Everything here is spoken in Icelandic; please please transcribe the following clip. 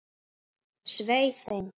Svei þeim!